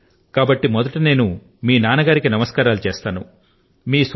wow కాబట్టి మొదట నేను మీ నాన్న కు నమస్కారాలు చేస్తాను